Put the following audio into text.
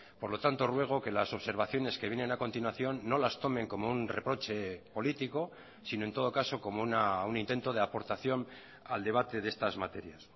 por lo tanto ruego que las observaciones que vienen a continuación no las tomen como un reproche político sino en todo caso como un intento de aportación al debate de estas materias